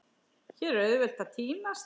Hér er auðvelt að týnast.